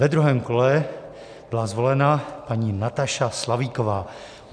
Ve druhém kole byla zvolena paní Nataša Slavíková.